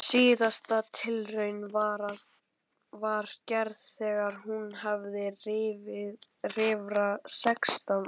Síðasta tilraunin var gerð þegar hún var rífra sextán ára.